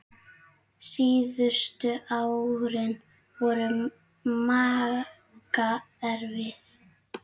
Síðustu árin voru Magga erfið.